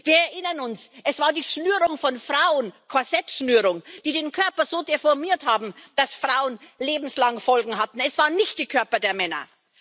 Wir erinnern uns Es war die Schnürung von Frauen Korsettschnürung die den Körper so deformiert hat, dass Frauen lebenslange Folgen hatten, es waren nicht die Körper der Männer.